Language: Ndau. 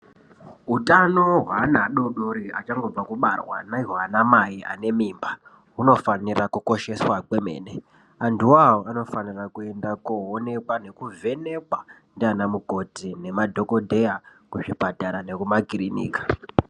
Utano hweana ado-dori achangobva kubarwa nehwaanamai anemimba hunofanirwa kukosheswa kwemene. Antuwo awo anofanirwa kuenda koowonekwa nekuvhenekwa ndiana mukoti nemadhokodheya kuzvipatara nekumakirinika.